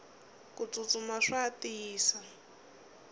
kutsutsuma swa tiyisa